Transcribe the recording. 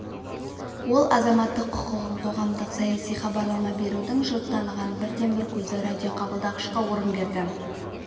ол азаматтық құқығын қоғамдық-саяси хабарлама берудің жұрт таныған бірден-бірі көзі радиоқабылдағышқа орын берді